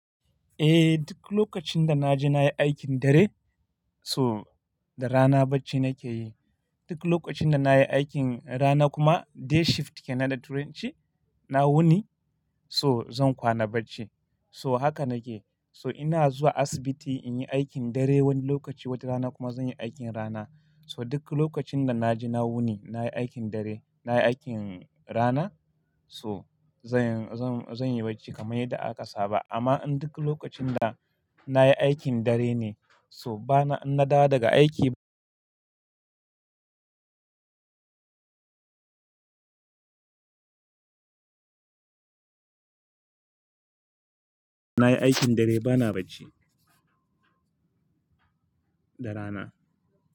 Eh, duk lokacin da na je na yi aikin dare, so da rana bacci na ke yi. Duk lokacin da na yi aikin rana kuma day shift ke nan da turanci, na wuni so zan kwana bacci. So haka na ke. So ina zuwa asibiti in yi aikin dare wani lokaci, wata rana kuma zan yi aikin rana. So duk lokacin da na je na wuni, na yi aikin dare, na yi aikin rana so zan, zan, zan yi bacci kamar yadda aka saba. Amma in duk lokacin da na yi aikin dare ne so bana, in na dawo daga aiki na yi aikin dare bana bacci da rana.